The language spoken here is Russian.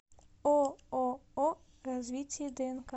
ооо развитие днк